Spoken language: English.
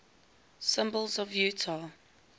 symbols of utah